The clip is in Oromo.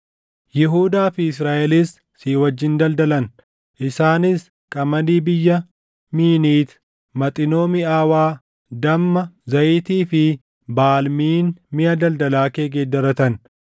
“ ‘Yihuudaa fi Israaʼelis si wajjin daldalan; isaanis qamadii biyya Miiniiti, Maxinoo miʼaawaa, damma, zayitii fi baalmiin miʼa daldalaa kee geeddaratan.